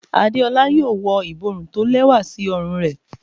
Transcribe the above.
Adeola wọ iborún tó lewa sí òrùn re